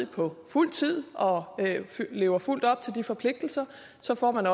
på fuld tid og lever fuldt ud op til de forpligtelser så får man